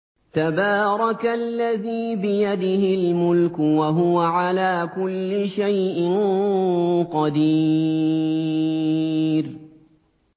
تَبَارَكَ الَّذِي بِيَدِهِ الْمُلْكُ وَهُوَ عَلَىٰ كُلِّ شَيْءٍ قَدِيرٌ